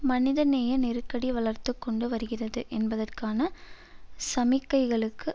மனிதநேய நெருக்கடி வளர்த்துகொண்டு வருகிறது என்பதற்கான சமிக்கைகளுக்கு